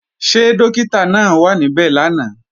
Ṣé Dọ́kítà náà wà níbẹ̀ lánàá?